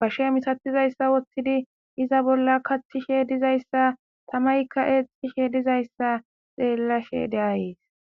bashshe misatizayssa woththidi iza bolla kachchishe dizayssa tamaykka eexishe dizayssa xeellashe de7ays.